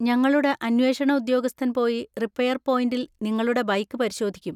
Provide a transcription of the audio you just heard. ഞങ്ങളുടെ അന്വേഷണ ഉദ്യോഗസ്ഥൻ പോയി റിപ്പയർ പോയിന്‍റിൽ നിങ്ങളുടെ ബൈക്ക് പരിശോധിക്കും.